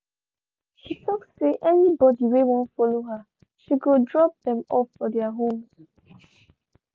she talk say anybody whey wan follow her she go drop them off for their homes